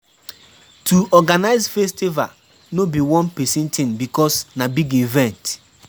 To organize festival no be one persin thing because na big event